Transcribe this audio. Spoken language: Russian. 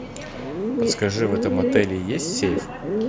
подскажи в этом отеле есть сейф